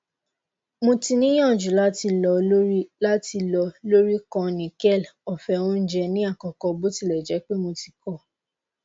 mo ti niyanju lati lọ lori lati lọ lori kan nickel ofe ounjẹ ni akoko botilẹjẹpe mo ti ko